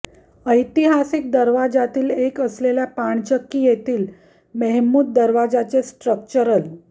ऐतिहासिक दरवाजांतील एक असलेल्या पाणचक्की येथील महेमूद दरवाजाचे स्ट्रक्चरल